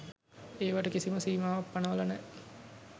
ඒවට කිසිම සීමාවක් පනවල නෑ.